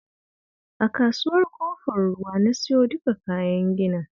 A Kasuwar Ƙofar Ruwa na siyo duka kayan ginin